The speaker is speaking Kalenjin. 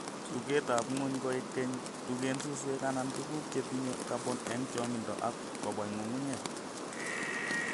Tugetab ngwony koek Keny. Tugeen suswek anan tuguuk chetinye carbon en chongindo ak koboe ng'ung'unyek.